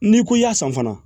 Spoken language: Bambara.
N'i ko i y'a san fana